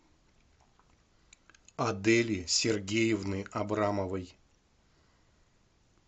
адели сергеевны абрамовой